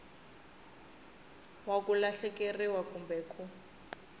wa ku lahlekeriwa kumbe ku